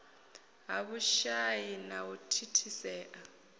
ha vhushai na u thithisea